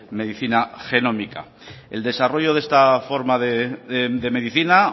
medicina genómica el desarrollo de esta forma de medicina